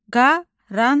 Qaranquş.